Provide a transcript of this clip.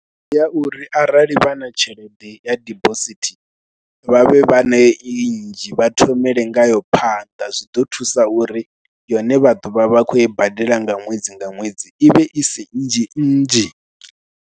Ndi ya uri arali vha na tshelede ya dibosithi vha vhe vha nayo i nnzhi vha thomele ngayo phanḓa, zwi ḓo thusa uri yone vha ḓo vha vha khou i badela nga ṅwedzi nga ṅwedzi i vhe isi nnzhi nnzhi.